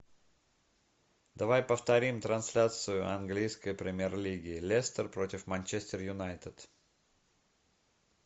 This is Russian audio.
давай повторим трансляцию английской премьер лиги лестер против манчестер юнайтед